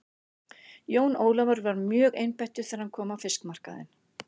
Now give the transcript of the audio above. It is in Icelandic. Jón Ólafur var mjögeinbeittur þegar hann kom á fiskmarkaðinn.